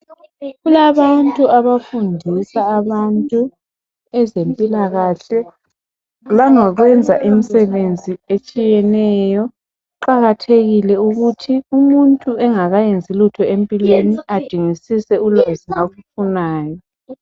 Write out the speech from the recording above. Kulabantu abafundisa abantu ngezemphilakahle langokuyenza imisenzi etshiyeneyo. Kuqakathekile ukuthi umuntu engakayenzi lutho empilweni adingisise ulwazi ngakufunayo.